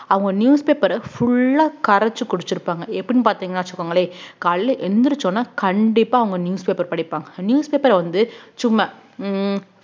அவுங்க newspaper அ full ஆ கரைச்சு குடிச்சிருப்பாங்க எப்படின்னு பாத்தீங்கன்னா வச்சுக்கோங்களேன் காலையில எழுந்திரிச்ச உடனே கண்டிப்பா அவங்க newspaper படிப்பாங்க newspaper வந்து சும்மா உம்